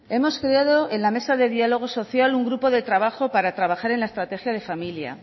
hemos creado en la mesa de diálogo social un grupo de trabajo para trabajar en la estrategia de familia